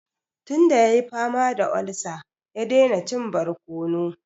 Tun da ya yi fama da olsa, ya daina cin barkono.